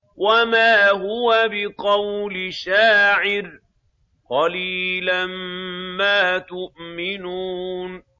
وَمَا هُوَ بِقَوْلِ شَاعِرٍ ۚ قَلِيلًا مَّا تُؤْمِنُونَ